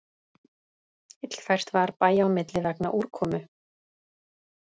Illfært var bæja á milli vegna úrkomu